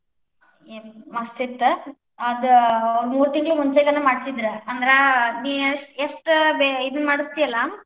ಮಸ್ತ್ ಇತ್ತ್, ಆದ್ ಮೂರ್ ತಿಂಗಳ್ ಮುಂಚೆನನ್ ಮಾಡಿಸಿದ್ರ್, ಅಂದ್ರ ನೀ ಎ~ ಎಷ್ಟ್ ಇದನ್ನ ಮಾಡಿಸ್ತಿಯಲ್ಲಾ.